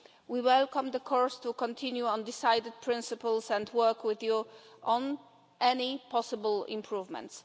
We welcome the course to continue on decided principles and work with you on any possible improvements.